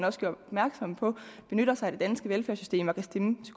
også gjorde opmærksom på benytter sig af det danske velfærdssystem og kan stemme